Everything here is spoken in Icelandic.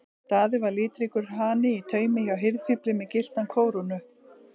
Daði var litríkur hani í taumi hjá hirðfífli með gyllta kórónu.